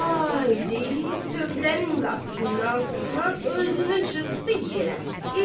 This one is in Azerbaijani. Vay deyib, tövlənin qapısından ağzından özünü çırpdı yerə.